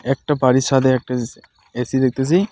একটা বাড়ির ছাদে একটা এ এ_সি দেখতেসি.